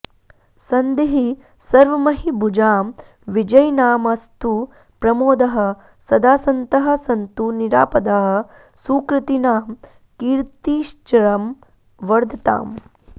सन्धिः सर्वमहीभुजां विजयिनामस्तु प्रमोदः सदा सन्तः सन्तु निरापदः सुकृतिनां कीर्तिश्चिरं वर्धताम्